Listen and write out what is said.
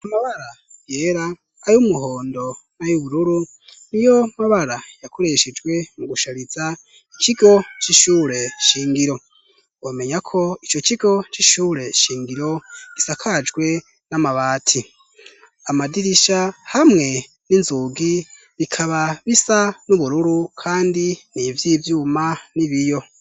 Amabara yera, ayumuhondo, nay'ubururu niyo mabara yakoreshejwe mu gushariza ikigo cishure shingiro womenyako ico kigo cishure shingiro gisakajwe namabati, amadirisha hamwe n'inzugi bikaba bisa nubururu kandi nivyivyuma n'ibiyo.